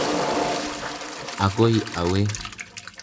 Akoi awe.